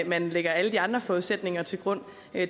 man lægger alle de andre forudsætninger til grund